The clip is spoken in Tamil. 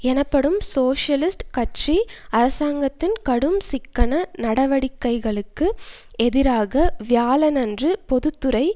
எனப்படும் சோசியலிஸ்ட் கட்சி அரசாங்கத்தின் கடும் சிக்கன நடவடிக்கைகளுக்கு எதிராக வியாழனன்று பொது துறை